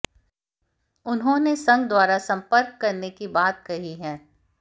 उन्होंने संघ द्वारा संपर्क करने की बात कही है